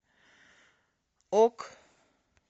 ок